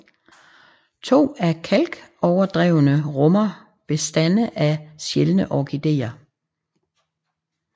To af kalkoverdrevene rummer bestande af sjældne orkideer